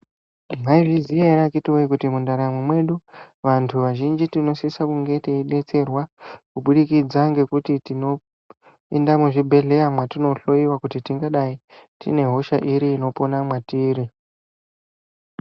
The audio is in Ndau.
Mwaizviziya ere akhitiwoye kuti mundaramo mwedu ,vantu vazhinji tinosisa kunge teidetserwa, kubudikidza ngekuti tinoenda muzvibhedhleya, mwatinohloiwa kuti tingadai tine hosha iri inopona mwatiri.